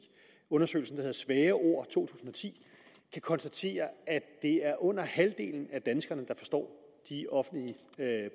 undersøgelsen der hedder svære ord to tusind og ti kan konstatere at det er under halvdelen af danskerne der forstår de offentlige